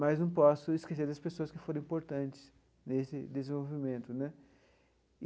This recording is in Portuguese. Mas não posso esquecer das pessoas que foram importantes nesse desenvolvimento né.